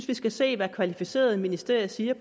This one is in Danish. vi skal se hvad kvalificerede ministerier siger